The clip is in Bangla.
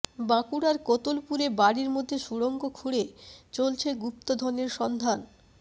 বাঁকুড়ার কোতুলপুরে বাড়ির মধ্যে সুড়ঙ্গ খুঁড়ে চলছে গুপ্তধনের সন্ধান